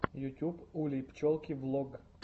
ютюб улей пчелки влог